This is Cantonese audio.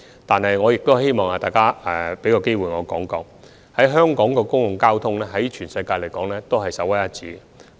但是，我也想藉此機會向大家指出，香港的公共交通在全球是首屈一指的。